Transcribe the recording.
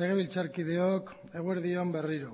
legebiltzarkideok eguerdi on berriro